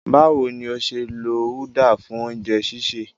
Báwo ni o ṣe lo uda fún oúnjẹ sísè?